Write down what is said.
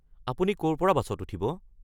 আপুনি ক’ৰ পৰা বাছত উঠিব?